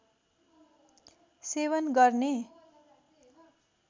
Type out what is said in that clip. सेवन गर्ने